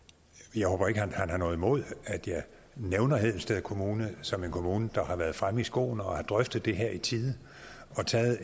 jeg håber ikke at han har noget imod at jeg nævner hedensted kommune som en kommune der har været fremme i skoene og har drøftet det her i tide og taget